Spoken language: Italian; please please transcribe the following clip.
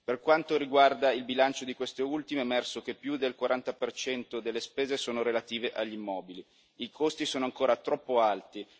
Per quanto riguarda il bilancio di queste ultime, è emerso che più del 40 delle spese sono relative agli immobili i costi sono ancora troppo alti.